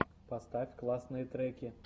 поставь классные треки